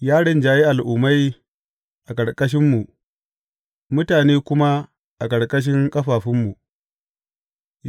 Ya rinjayi al’ummai a ƙarƙashinmu, mutane kuma a ƙarƙashin ƙafafunmu.